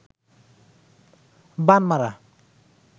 বান মারা